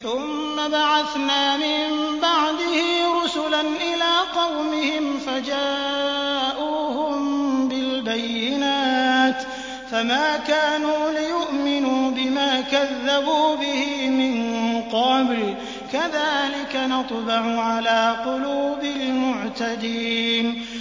ثُمَّ بَعَثْنَا مِن بَعْدِهِ رُسُلًا إِلَىٰ قَوْمِهِمْ فَجَاءُوهُم بِالْبَيِّنَاتِ فَمَا كَانُوا لِيُؤْمِنُوا بِمَا كَذَّبُوا بِهِ مِن قَبْلُ ۚ كَذَٰلِكَ نَطْبَعُ عَلَىٰ قُلُوبِ الْمُعْتَدِينَ